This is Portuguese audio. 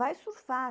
Vai surfar.